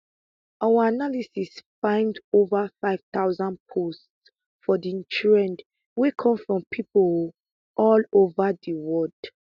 our analysis find ova five thousand posts for di thread wey come from pipo um all ova di wold